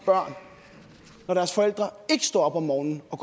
børn når deres forældre står op om morgenen og